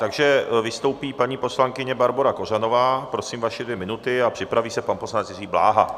Takže vystoupí paní poslankyně Barbora Kořanová, prosím, vaše dvě minuty a připraví se pan poslanec Jiří Bláha.